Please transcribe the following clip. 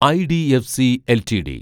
IDFC LTD